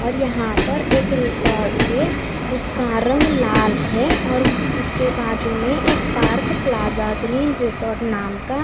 और यहां पर एक रिसॉर्ट है उसका रंग लाल है और उसके बाजू में एक पार्क प्लाजा ग्रीन रिजॉर्ट नाम का--